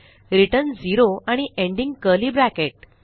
return 0 आणि ending curly bracket